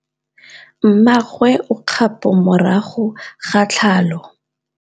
Mmagwe o kgapô morago ga tlhalô.